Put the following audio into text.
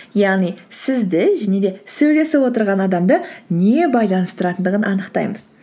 яғни сізді және де сөйлесіп отырған адамды не байланыстыратындығын анықтаймыз